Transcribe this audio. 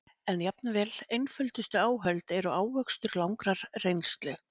En jafnvel einföldustu áhöld eru ávöxtur langrar reynslu.